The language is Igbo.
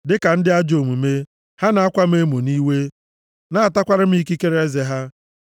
Dịka ndị ajọ omume, ha na-akwa m emo nʼiwe, na-atakwara m ikikere eze ha.